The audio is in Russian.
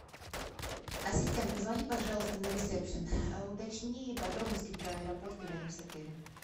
ассистент позвони пожалуйста на ресепшен уточни подробности про аэропорты рядом с отелем